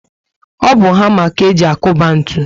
O bu hama ka eji akuba ntụ